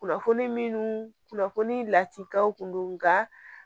Kunnafoni minnu kunnafoni latiw kun don nka